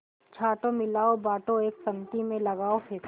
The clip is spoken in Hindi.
छाँटो मिलाओ बाँटो एक पंक्ति में लगाओ फेंको